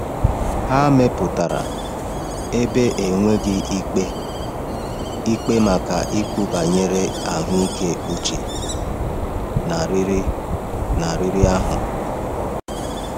Ha mepụtara ebe enweghị ikpe ikpe maka ikwu banyere ahụike uche na riri na riri ahụ.